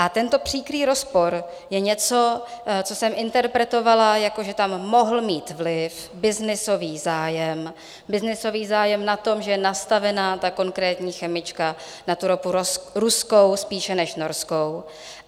A tento příkrý rozpor je něco, co jsem interpretovala, jako že tam mohl mít vliv, byznysový zájem, byznysový zájem na tom, že je nastavena ta konkrétní chemička na tu ropu ruskou spíše než norskou.